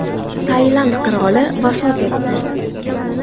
Tailand qiroli vafot etdi.